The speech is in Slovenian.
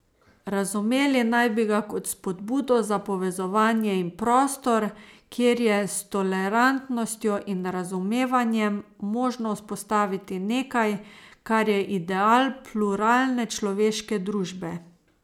Razumeli naj bi ga kot spodbudo za povezovanje in prostor, kjer je s tolerantnostjo in razumevanjem možno vzpostaviti nekaj, kar je ideal pluralne človeške družbe.